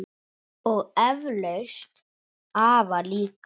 Og eflaust afa líka.